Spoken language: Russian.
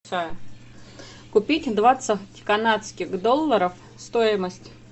купить двадцать канадских долларов стоимость